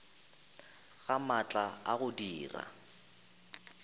ga maatla a go dira